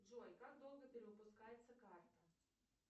джой как долго перевыпускается карта